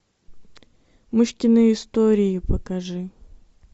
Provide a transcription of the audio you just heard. мышкины истории покажи